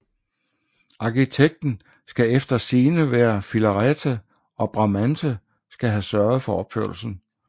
Arkitekten skal eftersigende være Filarete og Bramante skal have sørget for opførslen